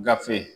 Gafe